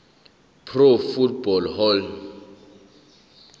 pro football hall